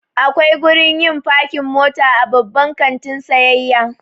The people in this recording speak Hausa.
Akwai gurin yin fakin mota a Babban kantin sayayya.